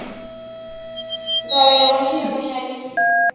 ntshovelo wa xiyimo xa le